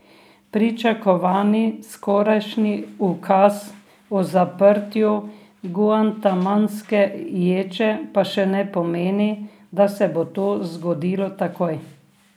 Pričakovani skorajšnji ukaz o zaprtju guantanamske ječe pa še ne pomeni, da se bo to zgodilo takoj.